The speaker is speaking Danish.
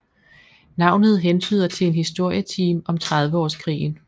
Navnet hentyder til en historietime om Trediveårskrigen